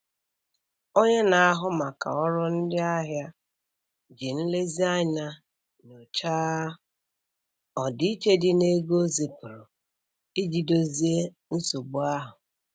Onye na-ahụ maka ọrụ ndị ahịa ji nlezianya nyochaa ọdịiche dị n'ego o zipụrụ iji dozie nsogbu ahụ.